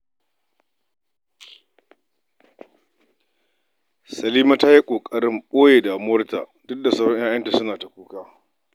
Salima ta yi ƙoƙari wajen ɓoye damuwarta, duk da sauran 'ya'yanta suna ta kuka.